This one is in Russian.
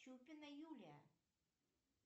чупина юлия